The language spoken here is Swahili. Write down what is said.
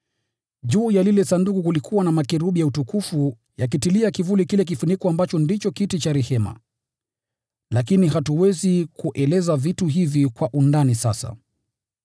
Juu ya lile Sanduku kulikuwa na makerubi ya Utukufu yakitilia kivuli kile kifuniko ambacho ndicho kiti cha rehema. Lakini hatuwezi kueleza vitu hivi kwa undani sasa.